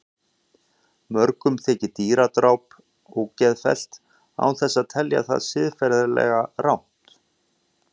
Mörgum þykir dýradráp ógeðfellt án þess að telja það siðferðilega rangt.